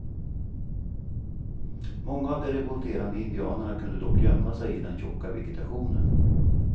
Många av de revolterande indianerna kunde dock gömma sig i den tjocka vegetationen.